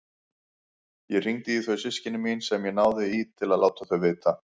Ég hringdi í þau systkini mín sem ég náði í til að láta þau vita.